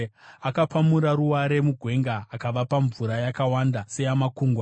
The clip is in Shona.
Akapamura ruware mugwenga akavapa mvura yakawanda seyamakungwa;